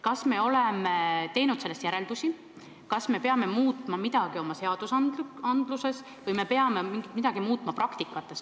Kas me oleme teinud sellest järeldusi, et me peame muutma midagi oma õigusaktides või me peame midagi muutma praktikas?